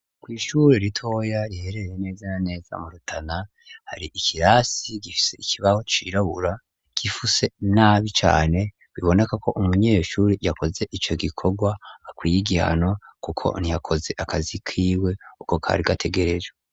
Kw' ishure ritoya riherereye neza na neza mu rutana hari ikirasi gifise ikibaho cirabura gifuse nabi cane ubonako umunyeshuri yakoze ico gikorwa akwiye igihano kuko ntiyakoze akazi kiwe uko kari gategerejwe.